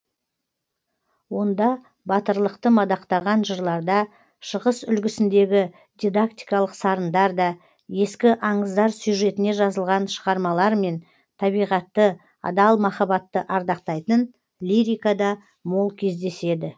онда батырлықты мадақтаған жырларда шығыс үлгісіндегі дидактикалық сарындар да ескі аңыздар сюжетіне жазылған шығармалар мен табиғатты адал махаббатты ардақтайтын лирика да мол кездеседі